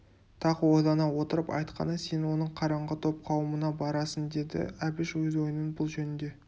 тағы ойлана отырып айтқаны сен оның қараңғы топ қауымына барасың деді әбіш өз ойының бұл жөнде